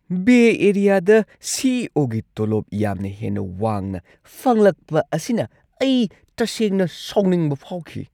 Bay ꯑꯦꯔꯤꯌꯥꯗ C. E. O. ꯒꯤ ꯇꯣꯂꯣꯞ ꯌꯥꯝꯅ ꯍꯦꯟꯅ ꯋꯥꯡꯅ ꯐꯪꯂꯛꯄ ꯑꯁꯤꯅ ꯑꯩ ꯇꯁꯦꯡꯅ ꯁꯥꯎꯅꯤꯡꯕ ꯐꯥꯎꯈꯤ ꯫